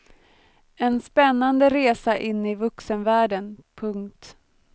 En spännande resa in i vuxenvärlden. punkt